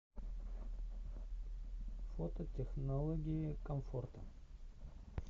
фото технологии комфорта